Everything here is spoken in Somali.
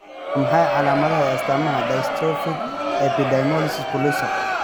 Waa maxay calaamadaha iyo astaamaha Dystrophic epidermolysis bullosa?